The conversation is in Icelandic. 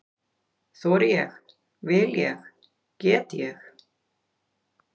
Þori ég- vil ég- get ég?